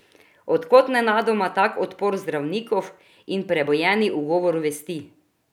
Od kod nenadoma tak odpor zdravnikov in prebujeni ugovor vesti?